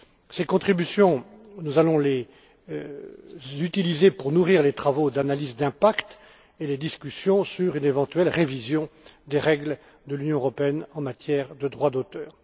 Ces contributions, nous allons les utiliser pour nourrir les travaux d'analyse d'impact et les discussions sur une éventuelle révision des règles de l'Union européenne en matière de droit d'auteur.